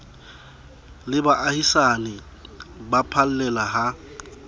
le baahisane ba phallela ha